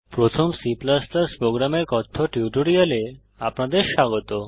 প্রথম C প্রোগ্রামের কথ্য টিউটোরিয়ালে আপনাদের স্বাগত